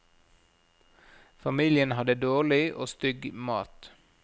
Familien hadde dårlig og stygg mat.